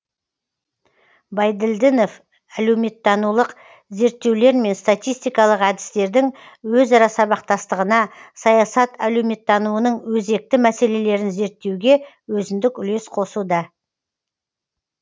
байділдінов әлеуметтанулық зерттеулер мен статистикалык әдістердің өзара сабақтастығына саясат әлеуметтануының өзекгі мәселелерін зерттеуге өзіндік үлес қосуда